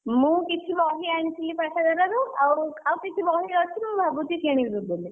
ମୁଁ କିଛି ବହି ଆଣିଥିଲି ପାଠାଗାରରୁ ଆଉ ଆଉ କିଛି ବହି ଅଛି ମୁଁ ଭାବୁଛି କିଣିବି ବୋଲି।